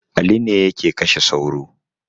Ali ne yake kashe sauro